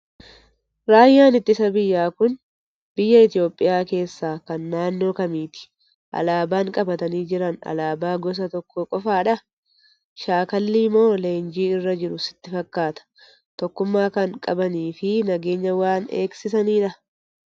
Raayyaan ittisa biyyaa kun biyya Itoophiyaa keessaa kan naannoo kamiiti? Alaabaan qabatanii jiran alaabaa gosa tokkoo qofaadhaa? Shaakallii moo leenjii irra jiru sitti fakkaata? Tokkummaa kan qabanii fi nageenya waan eegsisanidhaa?